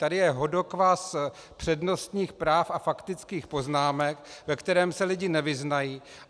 Tady je hodokvas přednostních práv a faktických poznámek, ve kterém se lidi nevyznají.